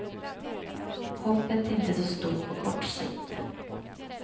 Hoppet är inte så stort på kort sikt.